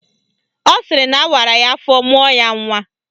Ọ sịrị na awara ya afọ mụọ ya nnwa